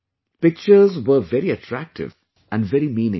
Pictures were very attractive and very meaningful